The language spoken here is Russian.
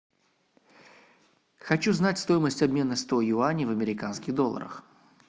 хочу знать стоимость обмена сто юаней в американских долларах